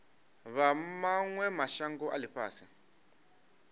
vha mawe mashango a ifhasi